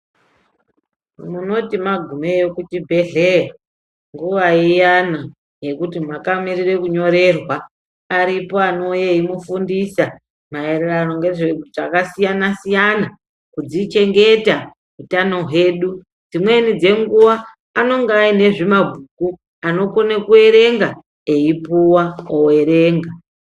Munoti magumeyo kuchibhedhleya nguva iyana yekuti makamirire kunyorerwa aripo anouya eimufundisa maererano ngezve zvakasiyana-siyana. Kudzichengeta utano hwedu, dzimweni dzenguva anenge aine zvimabhuku anokone kuerenga eipuva overenga.